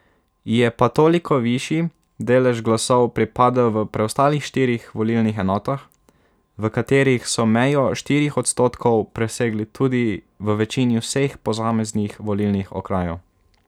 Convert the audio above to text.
Ji je pa toliko višji delež glasov pripadel v preostalih štirih volilnih enotah, v katerih so mejo štirih odstotkov presegli tudi v večini vseh posameznih volilnih okrajev.